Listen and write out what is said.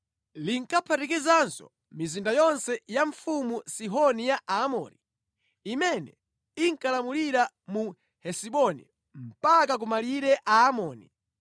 Linkaphatikizanso mizinda yonse ya mfumu Sihoni ya Aamori, imene inkalamulira mu Hesiboni, mpaka ku malire a Aamoni.